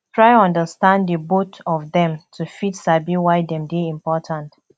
try understand di both of dem to fit sabi why dem de important